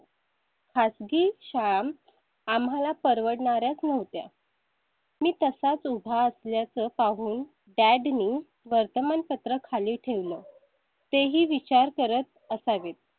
खासगी शाळां आम्हाला परवडणारे नव्हते. मी तसाच उभा असल्या चं पाहून dad नी वर्तमानपत्र खाली ठेवलं. तेही विचार करत असावेत.